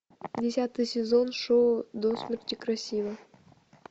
десятый сезон шоу до смерти красива